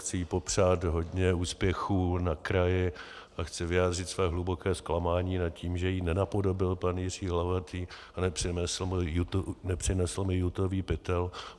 Chci jí popřát hodně úspěchů na kraji a chci vyjádřit své hluboké zklamání nad tím, že ji nenapodobil pan Jiří Hlavatý a nepřinesl mi jutový pytel.